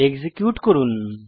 execute করুন